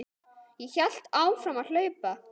Ég hélt áfram að hlaupa.